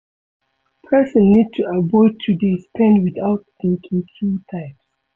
Person need to avoid to dey spend without thinking two times